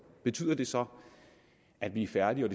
betyder det så at vi er færdige og